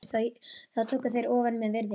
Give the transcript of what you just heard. Þá tóku þeir ofan með virðingu.